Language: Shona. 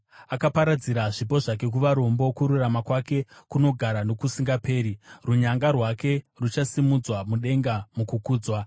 Akaparadzira zvipo zvake kuvarombo, kururama kwake kunogara nokusingaperi; runyanga rwake ruchasimudzwa mudenga mukukudzwa.